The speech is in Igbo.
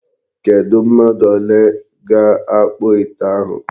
Kedụ mmadụ ole ga-akpụ ite ahụ.